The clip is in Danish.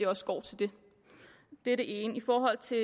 også går til det det er det ene i forhold til